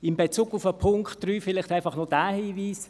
In Bezug auf Punkt 3 habe ich einfach noch diesen Hinweis: